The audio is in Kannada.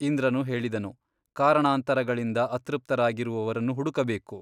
ಇಂದ್ರನು ಹೇಳಿದನು ಕಾರಣಾಂತರಗಳಿಂದ ಅತೃಪ್ತರಾಗಿ ರುವವರನ್ನು ಹುಡುಕಬೇಕು.